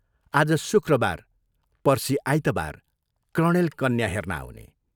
आज शुक्रबार पर्सि आइतवार, कर्णेल कन्या हेर्न आउने।